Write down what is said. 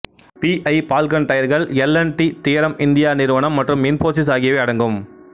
B I Falcon டயர்கள் L and T தியரம் India நிறுவனம் மற்றும் இன்போசிஸ் ஆகியவை அடங்கும்